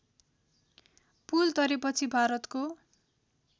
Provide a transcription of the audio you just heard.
पुल तरेपछि भारतको